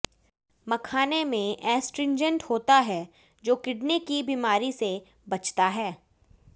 मखाने में एस्ट्रिंजेंट होता है जो किडनी की बीमारी से बचता है